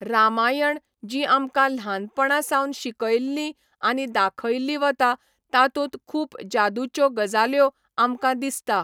रामायण जी आमकां ल्हानपणा सावन शिकयल्ली आनी दाखयल्ली वता तातूंत खूब जादूच्यो गजाल्यो आमकां दिसता.